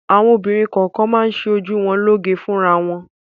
Àwọn obìnrin kọ̀ọ̀kan máa ń ṣe ojú wọn lóge fúnra wọn.